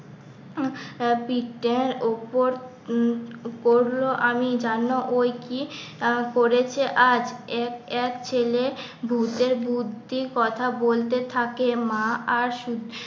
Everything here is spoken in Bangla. পিঠটার ওপর করলো আমি জানলাম ওই কি? করেছে আজ এক ছেলে ভুতের বুদ্ধির কথা বলতে থাকে মা আর